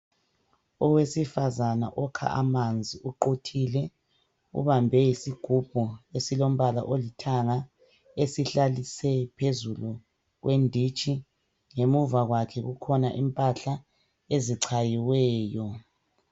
Owesifazana okha amanzi uquthile ubambe isigubhu esilombala olithanga esihlalise phezulu kwenditshi ngemuva kwakhe kukhona impahla ezichayiweyo.